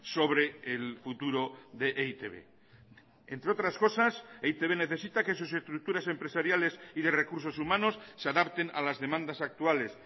sobre el futuro de e i te be entre otras cosas e i te be necesita que sus estructuras empresariales y de recursos humanos se adapten a las demandas actuales